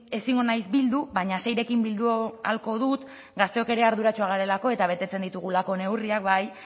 ezingo naiz bildu baina seirekin bildu ahalko dut gazteok ere arduratsuak garelako eta betetzen ditugulako neurriak bai